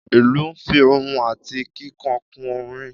Ìlú nfi ohùn ati kíkan kun orin